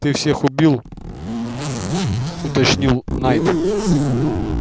ты всех убил уточнил найд